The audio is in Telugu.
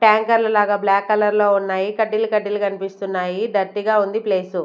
ట్యాంకర్లు లాగా బ్లాక్ కలర్ లో ఉన్నాయి కడ్డీలు కడ్డీలు కనిపిస్తున్నాయి డర్టీగా ఉంది ప్లేసు .